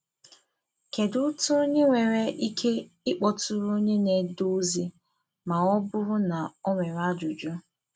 Kedu otu onye nwere ike ịkpọtụrụ onye na-ede ozi ma ọ bụrụ na o nwere ajụjụ